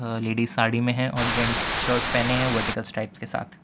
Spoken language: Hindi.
और लेडिस साड़ी में है और जेंट्स शर्ट पहने हैं वर्टिकल स्ट्राइप्स के साथ --